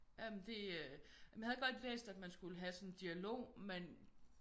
Jamen det øh jeg havde godt læst at man skulle have sådan en dialog men